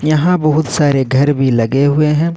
यहां बहुत सारे घर भी लगे हुए हैं।